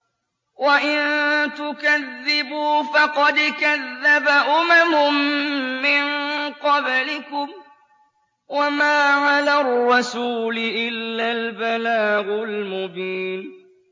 وَإِن تُكَذِّبُوا فَقَدْ كَذَّبَ أُمَمٌ مِّن قَبْلِكُمْ ۖ وَمَا عَلَى الرَّسُولِ إِلَّا الْبَلَاغُ الْمُبِينُ